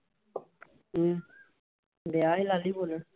ਕੀ ਵਿਆਹ ਵਾਲੀ ਲਾਲੀ ਬੋਲਣ।